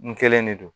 N kelen de don